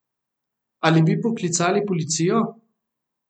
Ali bi poklicali policijo?